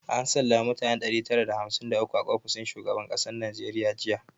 An sallama mutane ɗari tara da hamsin da uku a ofishin shugaban kasar najeriya jiya